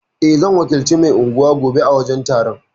Eh, zan wakilci mai anguwa gobe a wajen taron.